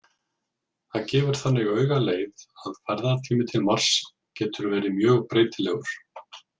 Það gefur þannig augaleið að ferðatími til Mars getur verið mjög breytilegur.